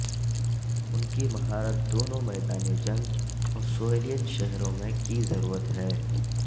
ان کی مہارت دونوں میدان جنگ اور سویلین شہروں میں کی ضرورت ہے